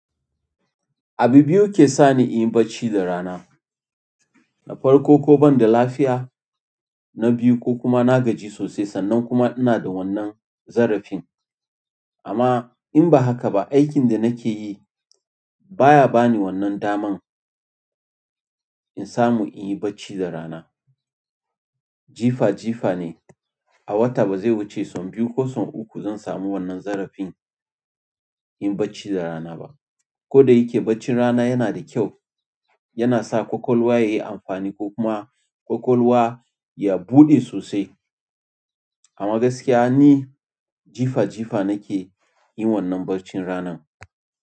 Abu biyu ke sani in yi bacci da rana. Na farko ko banda lafiya na biyu ko kuma na gaji sosai sannan kuma ina da wannan zarafin amma in ba haka ba aikin da nake yi baya bani wannan daman in samu in yi bacci da rana. Jifa jifa ne a wata ba zai wuce sau biyu ko uku zan samu wannan zarafin yin bacci da rana ba. Koda yake bacci rana yana da kyau yana sa ƙwaƙwalwa yayi amfani ko kuma ƙwaƙwalwa ya buɗe sosai. Amma gaskiya ni jifa jifa nake yin wannan bacci ranan.